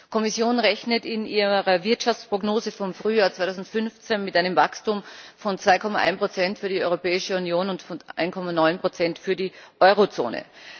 Die Kommission rechnet in ihrer Wirtschaftsprognose vom Frühjahr 2015 mit einem Wachstum von 2,1 Prozent für die Europäische Union und von 1,9 Prozent für die Eurozone.